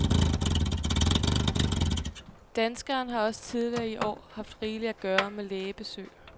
Danskeren har også tidligere i år haft rigeligt at gøre med lægebesøg.